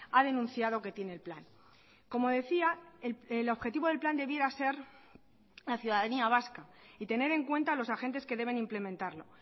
ha denunciado que tiene el plan como decía el objetivo del plan debiera ser la ciudadanía vasca y tener en cuenta a los agentes que deben implementarlo